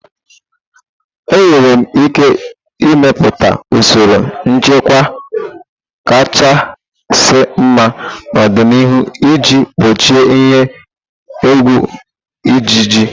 Enwere ike ịmepụta usoro nchịkwa kachasị mma n'ọdịniihu iji gbochie ihe egwu ịjiji.